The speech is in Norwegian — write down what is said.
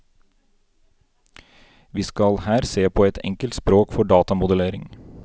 Vi skal her se på et enkelt språk for datamodellering.